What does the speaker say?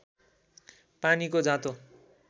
पानीको जाँतो